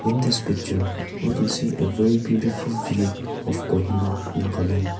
in the picture we can see a very beautiful view of kohima nagaland.